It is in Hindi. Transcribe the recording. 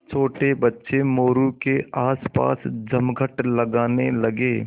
छोटे बच्चे मोरू के आसपास जमघट लगाने लगे